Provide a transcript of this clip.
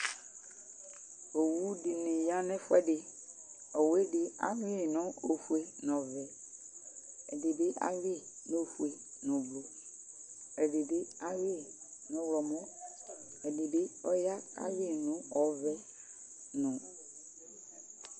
owʊdɩnɩ yanɛfʊɛdɩ ɛdɩ lɛ ofʊé nʊ ɔvɛ ɛdɩbɩ lɛ ofʊé nʊ oblo ɛdɩbɩ lɛ ɔlɔmɔ ɛdɩ lɛ ɔvɛ